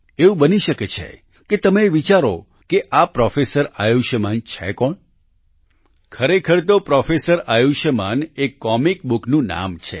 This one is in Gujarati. એવું બની શકે કે તમે એ વિચારો કે આ પ્રોફેસર આયુષ્યમાન છે કોણ ખરેખર તો પ્રોફેસર આયુષ્યમાન એક કોમિક બુકનું નામ છે